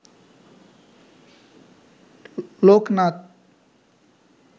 Loknath